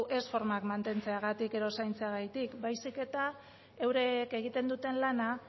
ez formak mantentzeagatik edo zaintzeagatik baizik eta eurek egiten duten lana